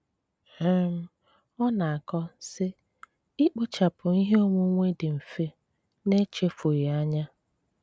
um Ọ̀ na-akọ̀, sị: ‘Ị́kpochàpụ ihe onwunwe dị̀ mfe n’echefughị anya